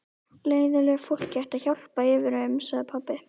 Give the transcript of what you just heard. Leiðinlegu fólki ætti að hjálpa yfir um, sagði pabbi.